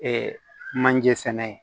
manje sɛnɛ